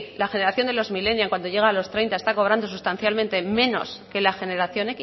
la generación de los millennial cuando llega a los treinta está cobrando sustancialmente menos que la generación